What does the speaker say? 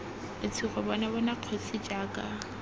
letshogo bona bona kgosi jaaka